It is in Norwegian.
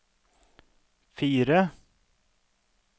fire